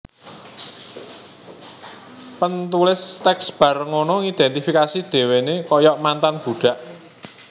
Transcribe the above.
Pentulis teks bar ngono ngidentifikasi dewene koyok mantan budak